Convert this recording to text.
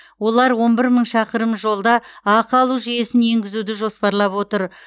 олар он бір мың шақырым жолда ақы алу жүйесін енгізуді жоспарлап отыр